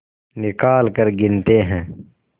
निकालकर गिनते हैं